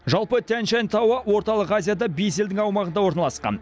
жалпы тянь шань тауы орталық азияда бес елдің аумағында орналасқан